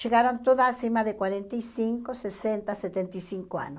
chegaram todas acima de quarenta e cinco, sessenta, setenta e cinco anos.